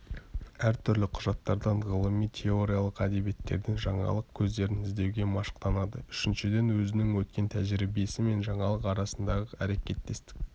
әртүрлі құжаттардан ғылыми-теориялық әдебиеттерден жаңалық көздерін іздеуге машықтанады үшіншіден өзінің өткен тәжірибесі мен жаңалық арасындағы әрекеттестікті